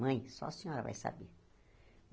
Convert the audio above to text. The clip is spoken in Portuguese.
Mãe, só a senhora vai saber.